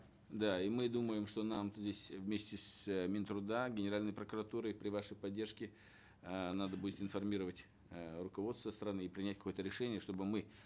да и мы думаем что нам здесь вместе с э мин труда генеральной прокуратурой при вашей поддержке э надо будет информировать э руководство страны и принять какое то решение чтобы мы